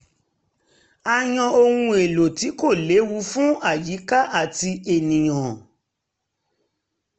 a yan ohun èlò tí kò lewu fún àyíká àti ènìyàn